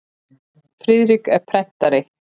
Friðrik er prentari.